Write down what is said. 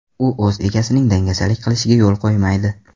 U o‘z egasining dangasalik qilishiga yo‘l qo‘ymaydi.